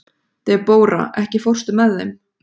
Debóra, ekki fórstu með þeim?